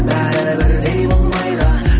бәрі бірдей болмайды